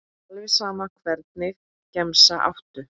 alveg sama Hvernig gemsa áttu?